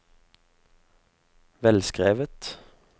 velskrevet